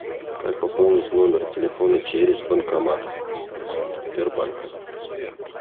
как пополнить номер телефона через банкомат сбербанка